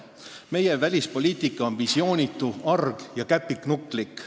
Meie välispoliitika on visioonitu, arg ja käpiknukulik.